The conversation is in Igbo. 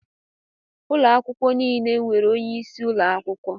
Ụlọ akwụkwọ niile e nwere onyeisi ụlọ akwụkwọ